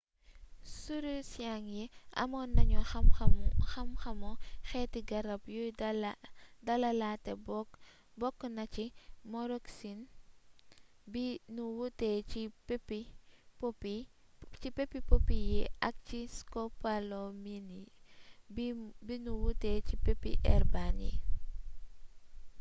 sirursiyeng yi amoon nañu xam xamu xeeti garab yuy dalalaate bokk na ci moroxin bi nu wutee ci peppi poppy yi ak skopolamin bi nu wutee ci peppi herbane